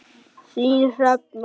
Þín Hrefna.